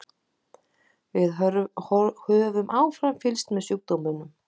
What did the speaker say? Við höfum áfram fylgst með sjúkdómnum.